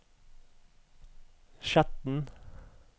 Skjetten